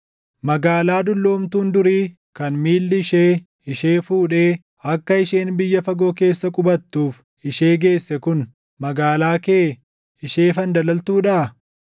Magaalaa dulloomtuun durii, kan miilli ishee ishee fuudhee, akka isheen biyya fagoo keessa qubattuuf ishee geesse kun, magaalaa kee ishee fandalaltuudhaa?